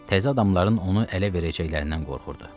Təzə adamların onu ələ verəcəklərindən qorxurdu.